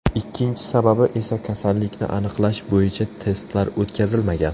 Ikkinchi sababi esa kasallikni aniqlash bo‘yicha testlar o‘tkazilmagan.